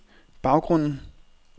baggrunden